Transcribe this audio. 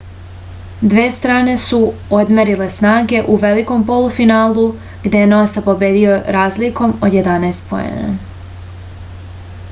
dve strane su odmerile snage u velikom polufinalu gde je nosa pobedio razlikom od 11 poena